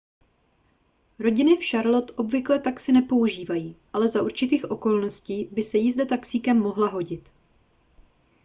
rodiny v charlotte obvykle taxi nepoužívají ale za určitých okolností by se jízda taxíkem mohla hodit